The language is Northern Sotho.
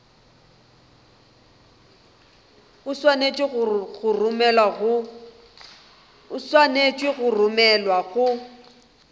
o swanetše go romelwa go